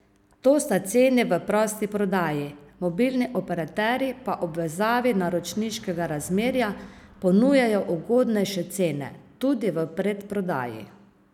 To sta ceni v prosti prodaji, mobilni operaterji pa ob vezavi naročniškega razmerja ponujajo ugodnejše cene, tudi v predprodaji.